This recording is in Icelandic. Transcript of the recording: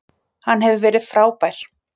Hann hefur verið frábær.